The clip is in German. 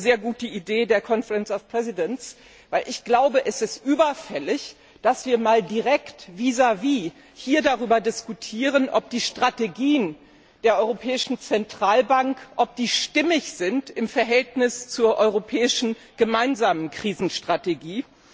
Ich fand es eine sehr gute Idee der Konferenz der Präsidenten, weil ich glaube, dass es überfällig ist, dass wir hier direkt vis vis darüber diskutieren, ob die Strategien der Europäischen Zentralbank stimmig sind im Verhältnis zur europäischen gemeinsamen Krisenstrategie.